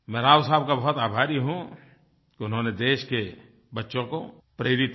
मैं राव साहब का बहुत आभारी हूँ कि उन्होंने देश के बच्चों को प्रेरित किया